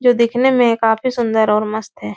जो दिखने में काफी सुन्दर और मस्त है।